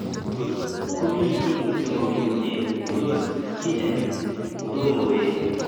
Kot ko mi ki ne mamii komie, ko tos kinyaa ko tomo koet.